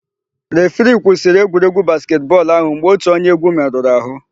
Refiri kwụsịrị egwuregwu basketị bọọlụ áhụ̀ mgbe ótù onye égwú merụrụ àhụ́.